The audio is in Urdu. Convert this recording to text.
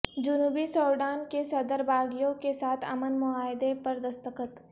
جنوبی سوڈان کے صدر کے باغیوں کے ساتھ امن معاہدے پر دستخط